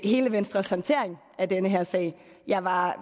hele venstres håndtering af den her sag jeg var